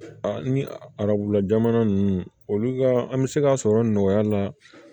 A ni arabula jamana ninnu olu ka an bɛ se k'a sɔrɔ nɔgɔya la